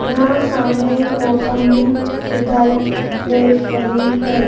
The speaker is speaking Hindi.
यहां सामने मोसम्बी दिखाई दे रही हैं।